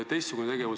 Küsimus!